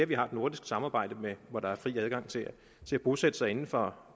vi har det nordiske samarbejde hvor der er fri adgang til at bosætte sig inden for